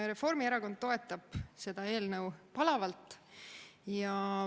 Reformierakond toetab seda eelnõu palavalt.